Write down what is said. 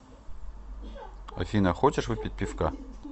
афина хочешь выпить пивка